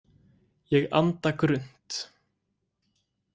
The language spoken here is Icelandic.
Ég anda grunnt.